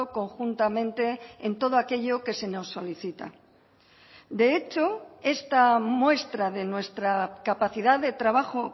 conjuntamente en todo aquello que se nos solicita de hecho esta muestra de nuestra capacidad de trabajo